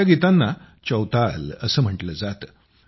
या गीतांना चौताल असं म्हटलं जातं